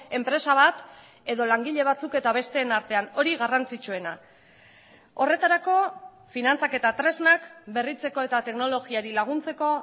enpresa bat edo langile batzuk eta besteen artean hori garrantzitsuena horretarako finantzak eta tresnak berritzeko eta teknologiari laguntzeko